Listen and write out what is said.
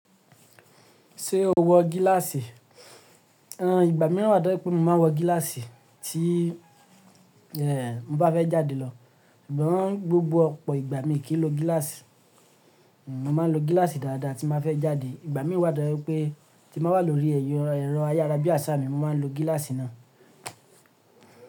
Ṣé o wọ gíláàsì? Ìgbà mìíràn wà tó je pé mo maa n wọ gíláàsì tí, mo bá fẹ́ jáde lọ. Ṣùgbọ́n gbogbo ọ̀pọ̀ ìgbà mi kì í lo gíláàsì. Mo ma lo gíláàsì dáadáa tí mba fẹ́ jáde. Ìgbà mìí wà tó je wipé tí mba wà lórí ẹ̀rọ ayarabiasa mi, mo ma n lo gíláàsì náà.